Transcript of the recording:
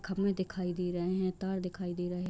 खम्बे दिखाई दे रहे हैं तार दिखाई दे रहें है।